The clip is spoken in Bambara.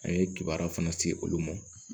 A ye kibaruya fana se olu ma